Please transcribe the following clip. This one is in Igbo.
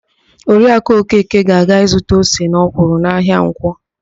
Oriakụ Okeke ga-aga ịzụta ose na ọkwụrụ n'ahịa Nkwọ.